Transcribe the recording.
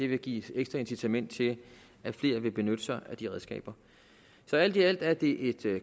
vil give et ekstra incitament til at flere vil benytte sig af de redskaber så alt i alt er det et